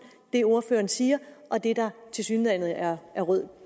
det ordføreren siger og det der tilsyneladende er rød